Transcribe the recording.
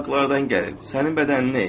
Uzaqlardan gəlib sənin bədəninə.